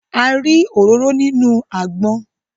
A rí òróró nínú àgbọn